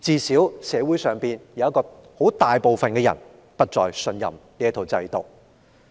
社會上大部分人現已不再信任這套制度。